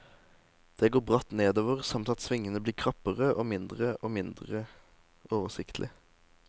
Det går bratt nedover, samt at svingene blir krappere og mindre og mindre oversiktlig.